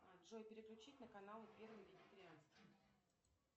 джой переключить на канал первый вегетарианский